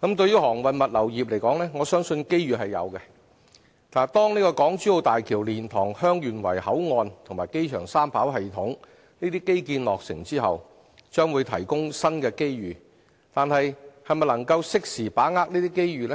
就航運物流業而言，我相信機遇是有的，當港珠澳大橋、蓮塘/香園圍口岸及機場三跑系統等基建落成後，將會提供新機遇，但能否適時把握機遇，